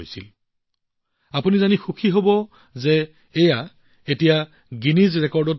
আপোনালোকে এইটো জানিও সুখী হব যে এতিয়া ই গিনিছ ৰেকৰ্ড হৈ পৰিছে